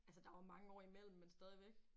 Altså der var mange år imellem men stadigvæk